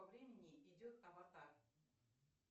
по времени идет аватар